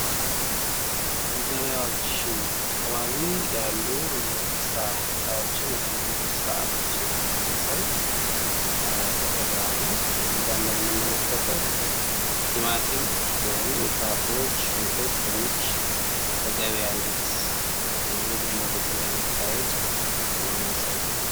በገበያዎች አካባቢ ያሉ የስራ ሁኔታዎችን ወይም የንግድ ስርዓቶችን የሚያሳይ ፎቶግራፍ ነው። ከዚህ ጋ እንመለከተው ቲማቲም ወይም ፍራፍሬዎች ሽንኩርት፣ ድንች በገበያ እንዴት የንግድ ሊውውጥ እንደሚካሃድ የሚያሳየው ነው።